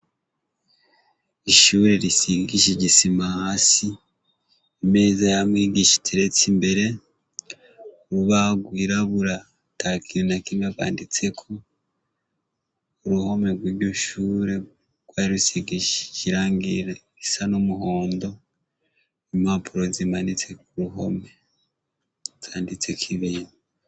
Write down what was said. Ishure risigishije isima hasi, imeza ya mwigisha iteretse imbere, urubaho rwirabura ata kintu na kimwe rwanditseko, uruhome rw'iryo shure rwari rusigishije irangi risa n'umuhondo, impapuro zimanitse ku ruhome zanditseko ibintu.